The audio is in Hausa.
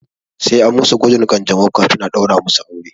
Sai an musu gwajin ƙanjamau kafin a ɗaura musu aure.